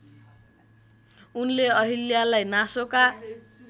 उनले अहिल्यालाई नासोका